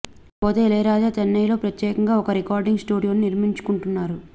ఇకపోతే ఇళయరాజా చెన్నైలో ప్రత్యేకంగా కొత్త రికార్డింగ్ స్టూడియోను నిర్మించుకుంటున్నారు